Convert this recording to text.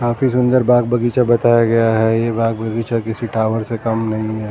काफी सुंदर बाग बगीचा बताया गया हैं ये बाग बगीचा किसी टावर से कम नहीं।